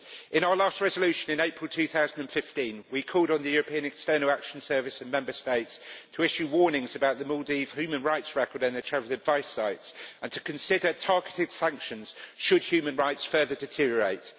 In our last resolution in April 2015, we called on the European External Action Service and Member States to issue warnings about the Maldives' human rights record on their travel advice sites, and to consider targeted sanctions should human rights further deteriorate.